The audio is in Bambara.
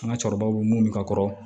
An ka cɛkɔrɔbaw bɛ mun ka kɔrɔ